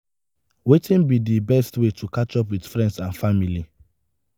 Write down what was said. wetin be di best way to catch up with friends and family?